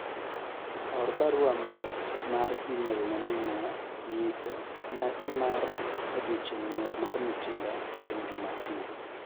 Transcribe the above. or barua mag mar email ne minwa nyise nyasi mar odiochieng nyuol mar Mutinda chieng' Jumapil